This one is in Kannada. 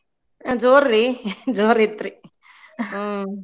ಜೋರ್ ರಿ ಜೋರ್ ಇತ್ರಿ ಹ್ಙೂ.